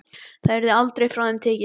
Það yrði aldrei frá þeim tekið.